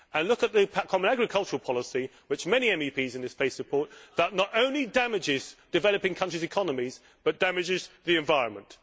Look at the common agricultural policy, which many MEPs in this place support, that not only damages developing countries' economies but damages the environment.